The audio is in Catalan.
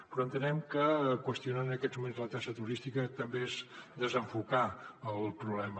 però entenem que qüestionar en aquests moments la taxa turística també és desenfocar el problema